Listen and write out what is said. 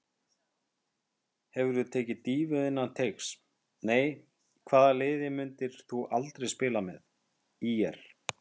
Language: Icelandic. Hefurðu tekið dýfu innan teigs: Nei Hvaða liði myndir þú aldrei spila með: ÍR